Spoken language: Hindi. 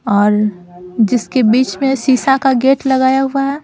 और जिसके बीच में शीशा का गेट लगाया हुआ है ।